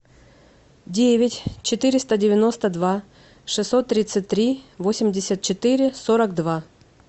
девять четыреста девяносто два шестьсот тридцать три восемьдесят четыре сорок два